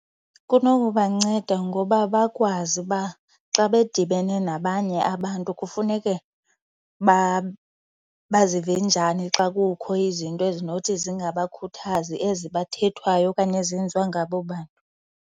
Kunokubanceda ngoba bakwazi uba xa bedibene nabanye abantu kufuneke bazive njani xa kukho izinto ezinothi zingabakhuthazi ezi bathethwayo okanye ezenziwa ngabo bantu.